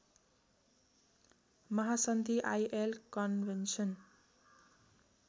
महासन्धि IL convention